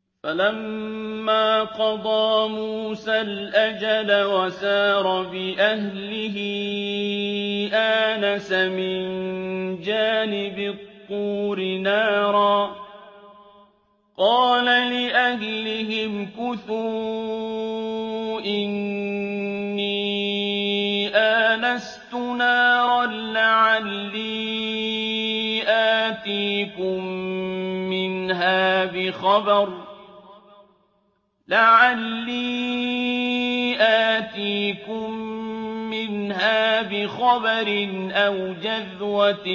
۞ فَلَمَّا قَضَىٰ مُوسَى الْأَجَلَ وَسَارَ بِأَهْلِهِ آنَسَ مِن جَانِبِ الطُّورِ نَارًا قَالَ لِأَهْلِهِ امْكُثُوا إِنِّي آنَسْتُ نَارًا لَّعَلِّي آتِيكُم مِّنْهَا بِخَبَرٍ أَوْ جَذْوَةٍ